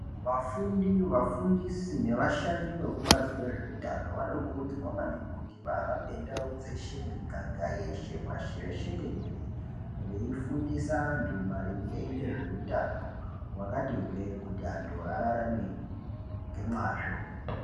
Vafundi vafundisi nevashandi vokubazi rezveutano vanokurudzirwa maningi kuti vahambe ndau dzeshe miganga yeshe pashi reshe tenderere veifundisa antu maringe ngezveutano wakati hwe kuti antu ararame ngemwazvo.